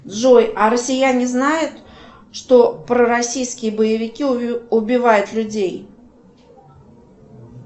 джой а россияне знают что пророссийские боевики убивают людей